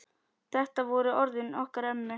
Þetta voru orðin okkar ömmu.